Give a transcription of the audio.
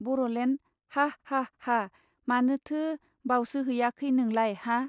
बर'लेण्ड हाः हाः हाः मानोथो बावसोहैयाखै नोंलाय हा.